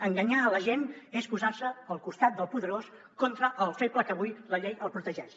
enganyar la gent és posar se al costat del poderós contra el feble que avui la llei el protegeix